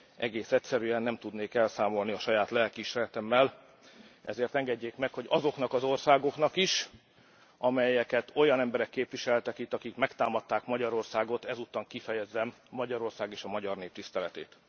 Egész egyszerűen nem tudnék elszámolni a saját lelkiismeretemmel, ezért engedjék meg, hogy azoknak az országoknak is, amelyeket olyan emberek képviseltek itt, akik megtámadták Magyarországot, ezúton kifejezzem Magyarország és a magyar nép tiszteletét.